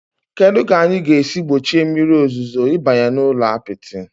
Kedu ka anyị ga-esi gbochie mmiri ozuzo ịbanye n'ụlọ apịtị?